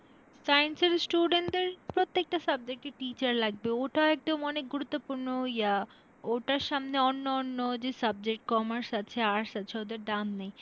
Science এর student দের প্রত্যেকটা subject এ teacher লাগবে ওটা একদম অনেক গুরুত্তপূর্ণ আহ ওটার সামনে অন্যান্য যে subject commerce আছে arts আছে, ওদের দাম নেই।